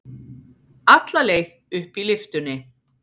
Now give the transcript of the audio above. Alla leið upp í lyftunni.